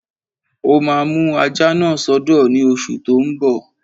Ó máa mú ajá náà sọ́dọ̀ ní oṣù tó n bọ̀